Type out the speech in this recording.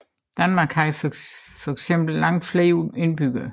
Danmark havde fx langt flere indbyggere